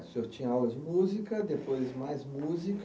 O senhor tinha aulas de música, depois mais música.